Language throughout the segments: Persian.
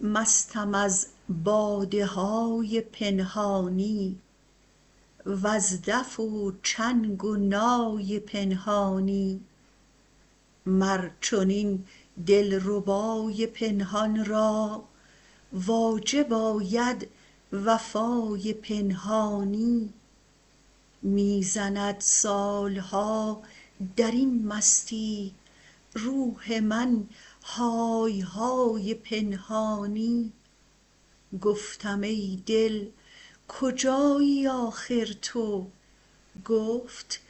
مستم از باده های پنهانی وز دف و چنگ و نای پنهانی مر چنین دلربای پنهان را واجب آمد وفای پنهانی می زند سال ها در این مستی روح من های های پنهانی گفتم ای دل کجایی آخر تو گفت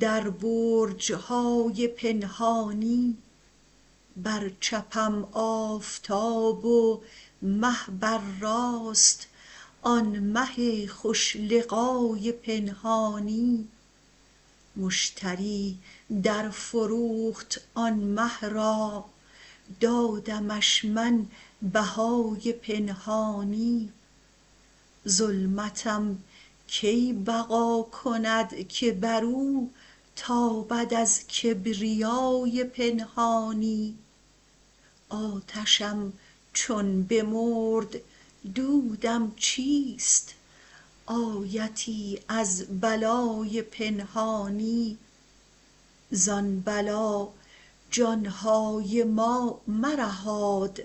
در برج های پنهانی بر چپم آفتاب و مه بر راست آن مه خوش لقای پنهانی مشتری درفروخت آن مه را دادمش من بهای پنهانی ظلمتم کی بقا کند که بر او تابد از کبریای پنهانی آتشم چون بمرد دودم چیست آیتی از بلای پنهانی ز آن بلا جان های ما مرهاد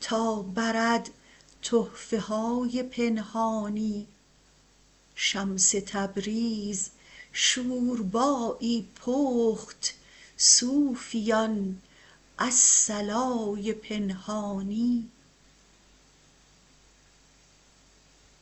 تا برد تحفه های پنهانی شمس تبریز شوربایی پخت صوفیان الصلای پنهانی